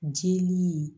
Jeli